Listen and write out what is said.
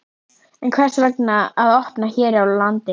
En hvers vegna að opna hér á landi?